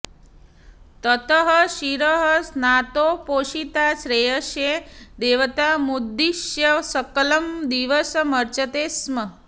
ततः शिरः स्नातोपोषिता श्रेयसे देवतामुद्दिश्य सकलं दिवसमर्चते स्म